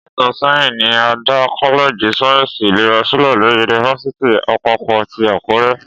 Ọdún mẹ́ta sẹ́yìn ni a dá kọ́lẹ́ẹ̀jì sáyẹ́ǹsì ìlera sílẹ̀ ni yunifásítì àpapọ̀ ti Àkúrẹ́